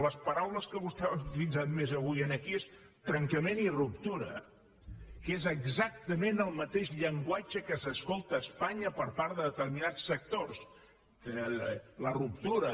les paraules que vostè ha utilitzat més avui aquí són trencament i ruptura que és exactament el mateix llenguatge que s’escolta a espanya per part de determinats sectors la ruptura